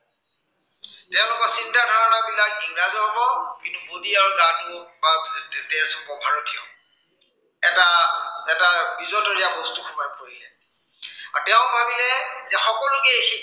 তেওঁলোকৰ চিন্তা ধাৰণা বিলাক ইংৰাজৰ হব, কিন্তু body আৰু গাটো বা তেজ হব ভাৰতীয়। এটা এটা বিজতৰীয়া বস্তু সোমাই পৰিলে আৰু তেওঁ ভাবিলে সকলোকে এই